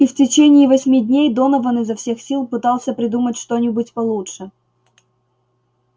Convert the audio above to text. и в течение восьми дней донован изо всех сил пытался придумать что-нибудь получше